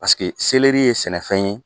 Paseke ye sɛnɛfɛn ye